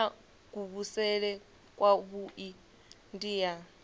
ya kuvhusele kwavhui ndi ya